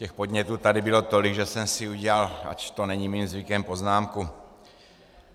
Těch podnětů tady bylo tolik, že jsem si udělal, ač to není mým zvykem, poznámku.